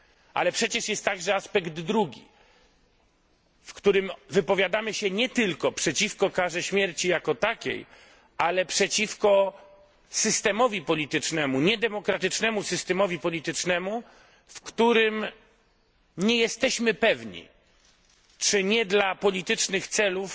Ale przecież jest także aspekt drugi, w którym wypowiadamy się nie tylko przeciwko karze śmierci jako takiej, ale przeciwko niedemokratycznemu systemowi politycznemu, w którym nie jesteśmy pewni, czy to nie dla politycznych celów